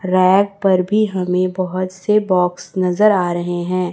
Rack पर भी हमें बहुत से बॉक्स नजर आ रहे हैं।